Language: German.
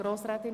Grossrätin